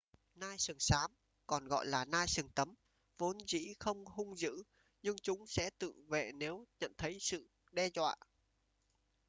nai sừng xám còn gọi là nai sừng tấm vốn dĩ không hung dữ nhưng chúng sẽ tự vệ nếu nhận thấy sự đe dọa